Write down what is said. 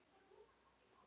Þannig var það hjá okkur.